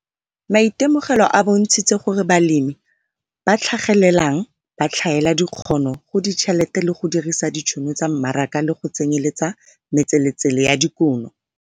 Maitemogelo a bontshitse gore balemi ba ba tlhagelelang ba tlhaela dikgono go ditšhelete le go dirisa ditšhono tsa mmaraka le go tsenyeletsa metseletsele ya dikuno.